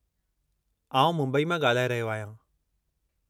आउं मुंबई मां ॻाल्हाए रहियो आहियां।